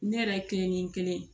Ne yɛrɛ ye kelen ni kelen ye